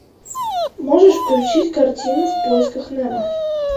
можешь включить картину в поисках немо